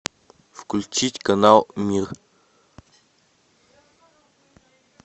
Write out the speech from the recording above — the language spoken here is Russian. включить канал мир